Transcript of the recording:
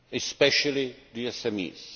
especially the SMEs.